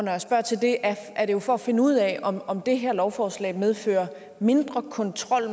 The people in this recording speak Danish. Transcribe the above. jeg spørger til det er er det jo for at finde ud af om om det her lovforslag medfører mindre kontrol